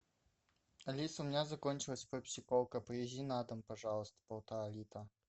алиса у меня закончилась пепси колка привези на дом пожалуйста полтора литра